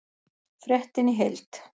Fréttin í heild